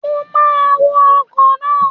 Mo máa wọ ọkọ̀ náà.